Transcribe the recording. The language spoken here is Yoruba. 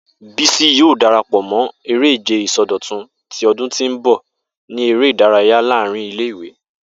Bisi yoo darapọ mọ ere-ije isọdọtun ti ọdun ti n bọ ni ere-idaraya laarin ile-iwe.